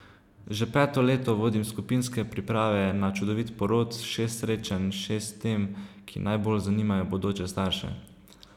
Že peto leto vodim skupinske Priprave na čudovit porod, šest srečanj, šest tem, ki najbolj zanimajo bodoče starše.